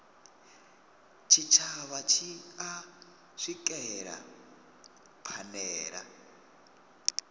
tshitshavha tshi a swikelela phanele